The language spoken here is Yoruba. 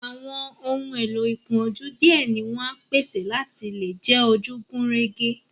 Àwọn ohun èlò ìkojú díẹ̀ ni wọ́n á pèsè láti lè jẹ́ ojú gùn régé